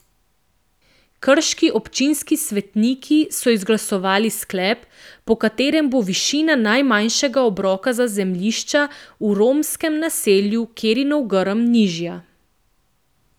Krški občinski svetniki so izglasovali sklep, po katerem bo višina najmanjšega obroka za zemljišča v romskem naselju Kerinov Grm nižja.